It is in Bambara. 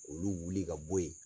K'olu wuli ka bɔ yen.